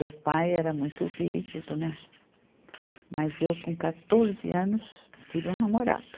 Meu pai era muito rígido, né, mas eu com quatorze anos tive um namorado.